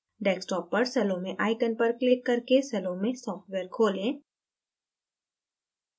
desktop पर salome icon पर click करके salome सॉफ्टवेयर खोलें